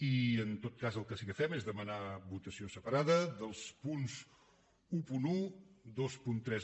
i en tot cas el que sí que fem és demanar votació separada dels punts onze vint tres